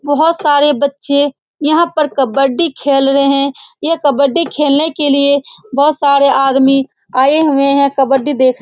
बहुत सारे बच्चे यहां पर कबड्डी खेल रहे हैं ये कबड्डी खेलने के लिए बहुत सारे आदमी आए हुए हैं कबड्डी देख --